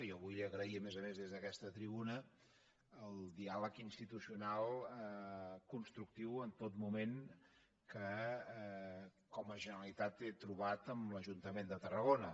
jo vull agrair a més a més des d’aquesta tribuna el diàleg institucional constructiu en tot moment que com a generalitat he trobat amb l’ajuntament de tarragona